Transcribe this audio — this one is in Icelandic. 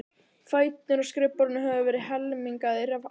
Fæturnir á skrifborðinu höfðu verið helmingaðir af ásetningi.